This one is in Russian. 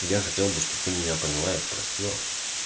я хотел бы чтобы ты меня поняла и простила